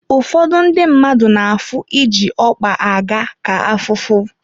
Ụfọdụ ndị mmadụ na-afụ iji ọkpa aga ka afụfụ.